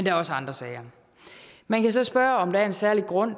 er også andre sager man kan så spørge om der er en særlig grund